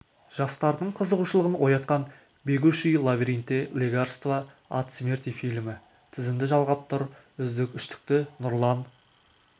жастардың қызығушылығын оятқан бегущий лабиринте лекарство от смерти фильмі тізімді жалғап тұр үздік үштікті нұрлан